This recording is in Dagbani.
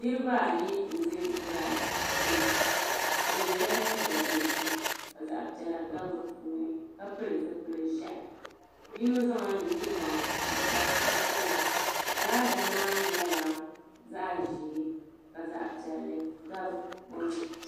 Niriba ayi n za giraada gbini bɛ yela liiga dozim ka zaɣa piɛla gabi di puuni ka pili zipil'ʒehi yino zaŋla nuchebaŋa n kpa o tibili giraada maa nyela zaɣa ʒee ka zaɣa piɛli gabi o ni.